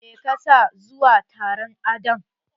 Me ka sa zuwa taron adon?